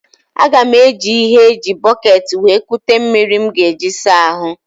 Aga m eji ihe eji bọkeeti wee kute mmiri m ga eji saa ahụ.